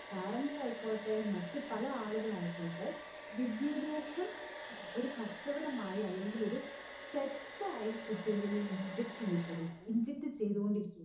parents ആയിക്കോട്ടെ മറ്റ് പല ആളുകൾ ആയിക്കോട്ടെ വിദ്യാഭ്യാസം ഒരു കച്ചവടമായി അല്ലെങ്ങിലോരു തെറ്റായി കുട്ടികളില് inject ചീയപെട് inject ചെയ്തുകൊണ്ട് ഇരിക്കാണ്.